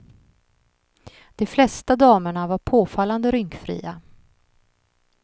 De flesta damerna var påfallande rynkfria.